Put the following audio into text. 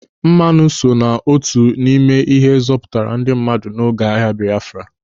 Mmanụ so n'otu n'ime ihe zọpụtara ndị mmadụ n'oge agha Biafra.